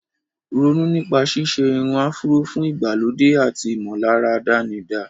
Ronú nípa ṣíṣe irun áfúró fún ìgbàlódé àti ìmọ̀lára àdánidá.